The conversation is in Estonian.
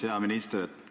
Hea minister!